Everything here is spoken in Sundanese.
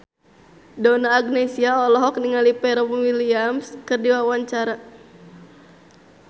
Donna Agnesia olohok ningali Pharrell Williams keur diwawancara